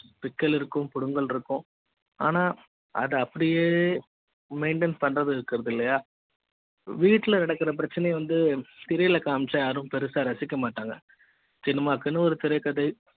பிக்கள் இருக்கும் புடுங்கல் இருக்கும் ஆனா அது அப்படியே maintain பண்றது இருக்கிறது இல்லையா வீட்ல நடக்குற பிரச்சனை வந்து திரையில காமிச்சா யாரும் பெருசா ரசிக்க மாட்டாங்க.